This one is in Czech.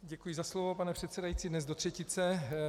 Děkuji za slovo, pane předsedající, dnes do třetice.